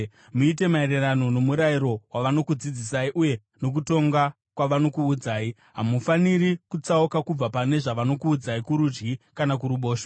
Muite maererano nomurayiro wavanokudzidzisai uye nokutonga kwavanokuudzai. Hamufaniri kutsauka kubva pane zvavanokuudzai, kurudyi kana kuruboshwe.